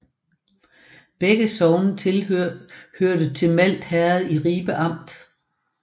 Begge sogne hørte til Malt Herred i Ribe Amt